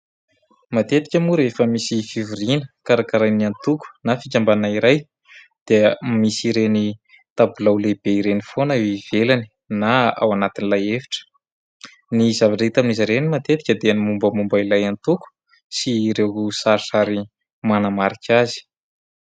Matetika moa rehefa misy fivoriana karakarain'ny atoko na fikambanana iray dia misy ireny tabilao lehibe ireny foana eo ivelany na ao anatin'ilay efitra ; ny zavatra hita amin'izy ireny matetika dia ny mombamomba ilay atoko sy ireo sarisary manamarika azy.